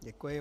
Děkuji.